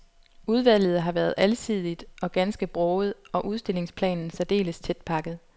Udvalget har været alsidigt og ganske broget, og udstillingsplanen særdeles tætpakket.